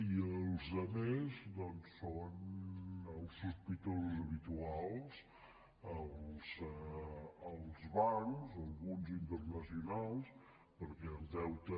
i els altres doncs són els sospitosos habituals els bancs alguns internacionals perquè el deute